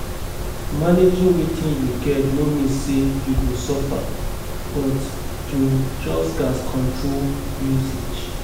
Managing wetin yu get no mean say yu go suffer, but yu just gats control usage